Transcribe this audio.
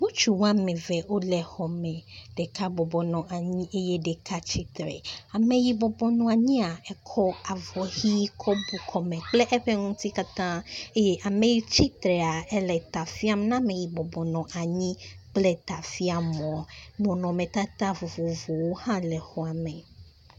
Ŋutsu woame eve wole xɔ me, ɖeka bɔbɔ nɔ anyi eye ɖeka tsitre, .ame yi bɔbɔ nɔ anyia, ekɔ avɔ ʋɛ̃ kɔ bu kɔme kple eƒe ŋuti katã. Eye ame yi tsitrea, ele ta fiam na ame yi bɔbɔ nɔ anyi kple tafiamɔ. Nɔnɔmetata vovovowo hã wole xɔ me.